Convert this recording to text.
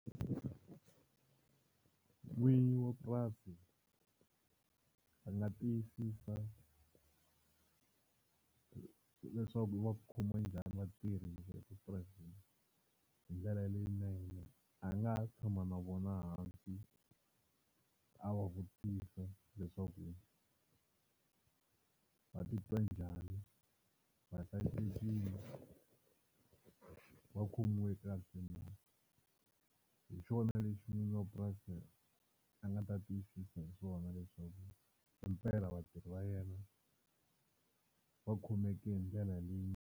N'winyi wa purasi a nga tiyisisa leswaku va khoma njhani vatirhi epurasini hi ndlela leyinene, a nga tshama na vona hansi a va vutisa leswaku va titwa njhani, va hlayisekile va khomiwe kahle hi xona lexi n'wamapurasi a nga ta tiyisisa hi swona leswaku hi mpela vatirhi va yena va khomeke hi ndlela leyi.